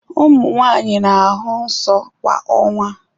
Ụmụ nwanyị na-ahụ nsọ kwa ọnwa.